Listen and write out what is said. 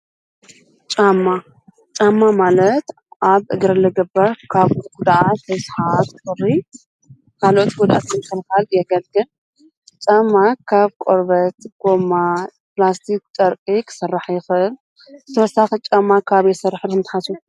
ጫማ- ጫማ ማለት ኣብ እግሪ ዝግበር ካብ ጉድኣት፣ ርስሓት፣ ቁሪ ካልኦት ጉድኣት ንምክልካል የገልግል። ጫማ ካብ ቆርበት፣ ጎማ ፣ፕላስቲክ፣ ጨርቂ ክስራሕ ይክእል። ብተውሳኺ ጫማ ካበይ ይስራሕ ኢልኩም ትሓስቡ ?